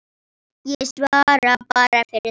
Ég svara bara fyrir mig.